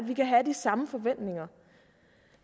vi kan have de samme forventninger